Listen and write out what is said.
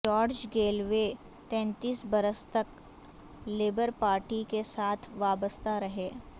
George Galloway تینتیس برس تک لیبر پارٹی کے ساتھ وابستہ رہے